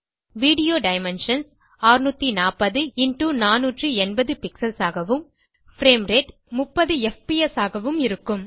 view dimensions 640480 pixels ஆகவும் frame rate 30எஃப்பிஎஸ் ஆகவும் இருக்கும்